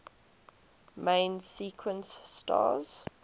main sequence stars